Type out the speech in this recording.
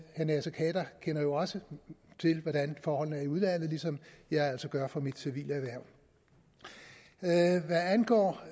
herre naser khader kender jo også til hvordan forholdene er i udlandet ligesom jeg altså gør fra mit civile erhverv hvad angår